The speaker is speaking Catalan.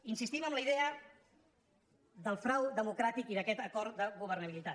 insistim en la idea del frau democràtic i d’aquest acord de governabilitat